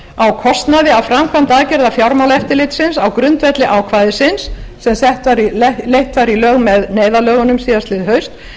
á kostnaði af framkvæmd aðgerða fjármálaeftirlitsins á grundvelli ákvæðisins sem leitt var í lög með neyðarlögunum síðastliðið haust